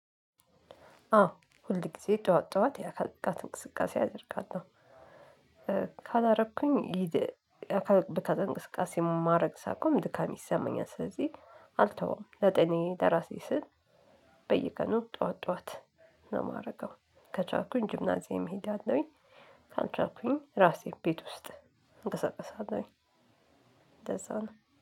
አዎ ሁል ጊዜ ጠዋት ጠዋት የአካል ብቃት እንቅስቃሴ አደርጋለሁ። ካላረኩኝ ሊድ የ አካል ብቃት እንቅስቃሴ ማረግ ሳቆም ድካም ይሰማኛል። ስለዚህ አልተውም ለጤናዬ ለራሴ ስል በየቀኑ ጠዋት ጠዋት ነው የማደርገው። ከቻልኩኝ ጂምናዚያም እሄዳለሁኝ። ካልቻልኩኝ ራሴ ቤት ውስጥ እንቀሳቀሳለሁኝ። እንደዛ ነው